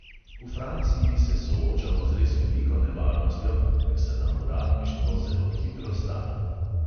V franciji se soočamo z res veliko nevarnostjo, ker se nam uradništvo zelo hitro stara.